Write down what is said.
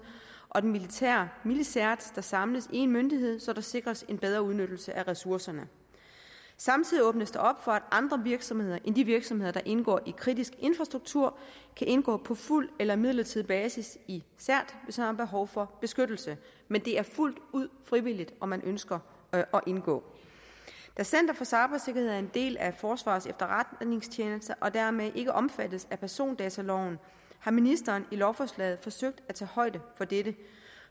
og den militære milcert samles i én myndighed så der sikres en bedre udnyttelse af ressourcerne samtidig åbnes der op for at andre virksomheder end de virksomheder der indgår i kritisk infrastruktur kan indgå på fuld eller midlertidig basis i cert hvis de har behov for beskyttelse men det er fuldt ud frivilligt om man ønsker at indgå da center for cybersikkerhed er en del af forsvarets efterretningstjeneste og dermed ikke er omfattet af persondataloven har ministeren lovforslaget forsøgt at tage højde for dette